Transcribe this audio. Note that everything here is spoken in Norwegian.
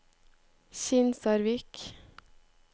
Kinsarvik